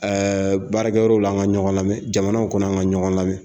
baarakɛ yɔrɔ la, an ka ɲɔgɔn lamɛn ,jamana kɔnɔ an ka ɲɔgɔn lamɛn!